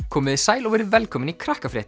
komiði sæl og verið velkomin í